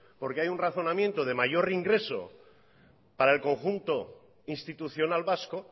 porque hay un razonamiento de mayor ingreso para el conjunto institucional vasco